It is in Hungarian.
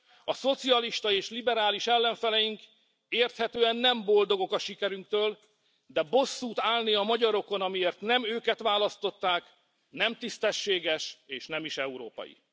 A szocialista és liberális ellenfeleink érthetően nem boldogok a sikerünktől, de bosszút állni a magyarokon, amiért nem őket választották, nem tisztességes, és nem is európai.